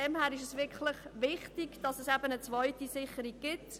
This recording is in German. Deshalb ist es wichtig, dass es eine zweite Sicherung gibt.